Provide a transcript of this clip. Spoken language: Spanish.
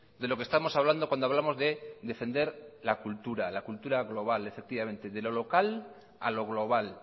de lo que estamos hablando cuando hablamos de defender la cultura la cultura global efectivamente de lo local a lo global